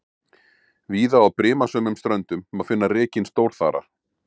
Víða á brimasömum ströndum má finna rekinn stórþara.